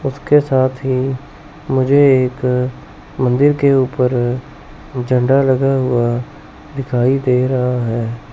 उसके साथ ही मुझे एक मंदिर के ऊपर झंडा लगा हुआ दिखाई दे रहा है।